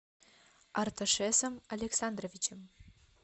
арташесом александровичем